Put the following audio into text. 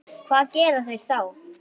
Hvað gera þeir þá?